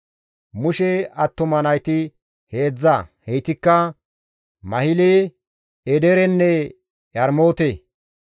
Mushe attuma nayti heedzdza; heytikka Mahile, Edeerenne Yarmoote.